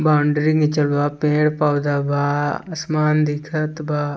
Boundary निचल बा पेड़-पौधे बा आसमान दिखत बा।